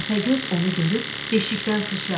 Təpəgöz onu görüb beşikdən suçradı.